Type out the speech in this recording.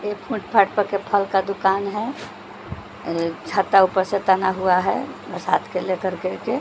एक फूटफाट के फल का दुकान है छत्ता ऊपर से तना हुआ हैबरसात को लेकर के --